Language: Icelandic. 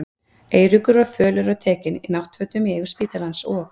Eiríkur var fölur og tekinn, í náttfötum í eigu spítalans, og